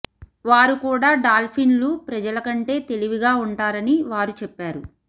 వారు కూడా డాల్ఫిన్లు ప్రజల కంటే తెలివిగా ఉంటారని వారు చెప్పారు